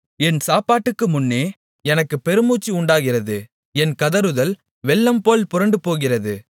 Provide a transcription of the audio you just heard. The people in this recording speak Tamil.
என் சாப்பாட்டுக்கு முன்னே எனக்குப் பெருமூச்சு உண்டாகிறது என் கதறுதல் வெள்ளம்போல் புரண்டுபோகிறது